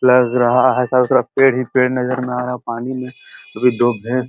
लगा रहा है। चारो तरफ पेड़ ही पेड़ नज़र में आ रहा है। पानी में भी दो भैस --